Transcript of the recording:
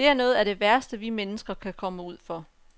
Det er noget af det værste, vi mennesker kan komme ud for.